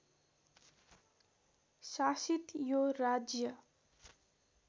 शासित यो राज्य